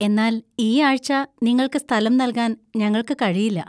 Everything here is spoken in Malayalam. എന്നാൽ ഈ ആഴ്‌ച നിങ്ങൾക്ക് സ്ഥലം നൽകാൻ ഞങ്ങൾക്ക് കഴിയില്ല.